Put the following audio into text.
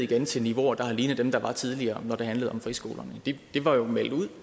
det til niveauer der ligner dem der var tidligere når det handler om friskolerne det var jo meldt